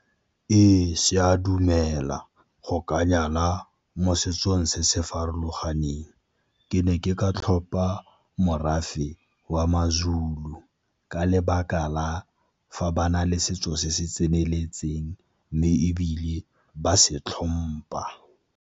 Ee, se a dumela go ka nyala mo setsong se se farologaneng. Ke ne ke ka tlhopa morafe wa maZulu ka lebaka la fa ba na le setso se se tseneletseng, mme ebile ba se tlhompa.,